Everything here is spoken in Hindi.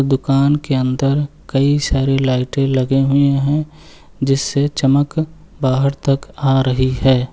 दुकान के अंदर कई सारे लाइटें लगे हुए हैं जिससे चमक बाहर तक आ रही है।